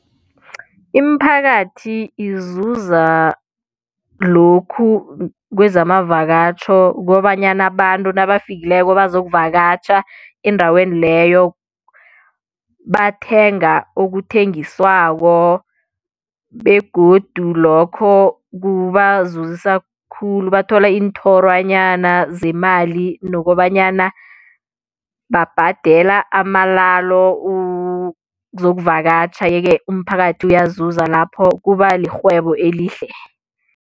Imiphakathi izuza lokhu kwezamavakatjho kobanyana abantu nabafikileko bazokuvakatjha endaweni leyo bathenga okuthengiswako begodu lokho kubazuzisa khulu bathola iinthorwanyana zemali nokobanyana babhadela amalalo ukuzokuvakatjha yeke umphakathi uyazuza lapho kuba lirhwebo elihle.